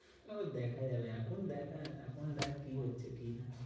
তারপর দেখা যাবে, এখন দেখার এখন দেখ কি হচ্ছে কি না?